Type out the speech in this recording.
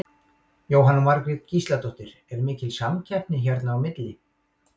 Jóhanna Margrét Gísladóttir: Er mikil samkeppni hérna á milli?